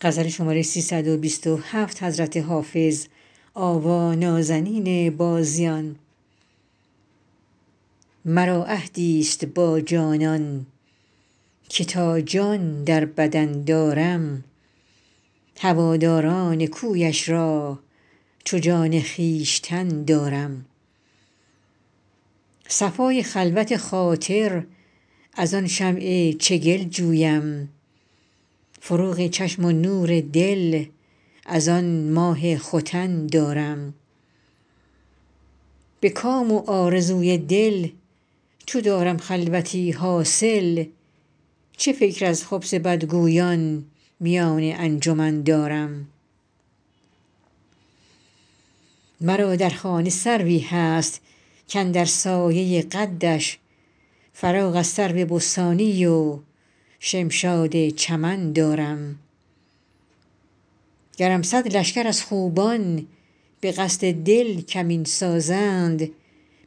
مرا عهدی ست با جانان که تا جان در بدن دارم هواداران کویش را چو جان خویشتن دارم صفای خلوت خاطر از آن شمع چگل جویم فروغ چشم و نور دل از آن ماه ختن دارم به کام و آرزوی دل چو دارم خلوتی حاصل چه فکر از خبث بدگویان میان انجمن دارم مرا در خانه سروی هست کاندر سایه قدش فراغ از سرو بستانی و شمشاد چمن دارم گرم صد لشکر از خوبان به قصد دل کمین سازند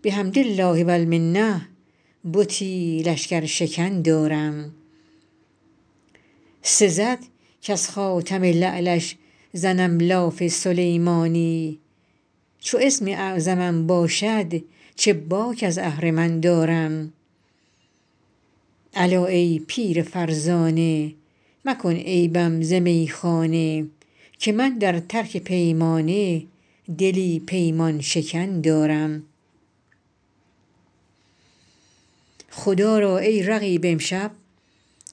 بحمد الله و المنه بتی لشکرشکن دارم سزد کز خاتم لعلش زنم لاف سلیمانی چو اسم اعظمم باشد چه باک از اهرمن دارم الا ای پیر فرزانه مکن عیبم ز میخانه که من در ترک پیمانه دلی پیمان شکن دارم خدا را ای رقیب امشب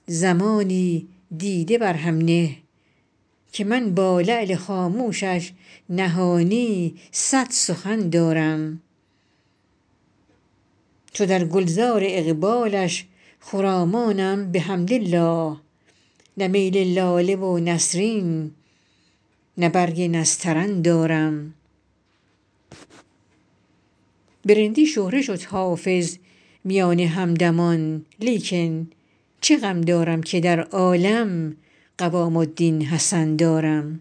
زمانی دیده بر هم نه که من با لعل خاموشش نهانی صد سخن دارم چو در گل زار اقبالش خرامانم بحمدالله نه میل لاله و نسرین نه برگ نسترن دارم به رندی شهره شد حافظ میان همدمان لیکن چه غم دارم که در عالم قوام الدین حسن دارم